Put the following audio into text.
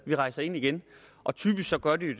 de rejser ind igen og typisk gør de det